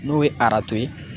N'o ye aranto ye.